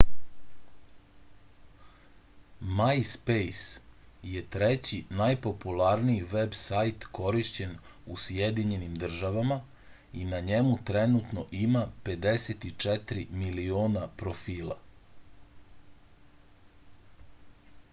majspejs je treći najpopularniji veb sajt korišćen u sjedinjenim državama i na njemu trenutno ima 54 miliona profila